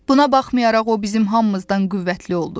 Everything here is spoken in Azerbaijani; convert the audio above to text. Buna baxmayaraq o bizim hamımızdan qüvvətli oldu.